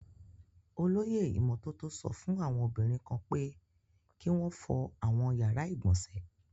Olóyè ìmọ́tótó sọ fún àwọn obìnrin kan pé kí wọn fọ àwọn yàrá ìgbọ̀nsẹ̀.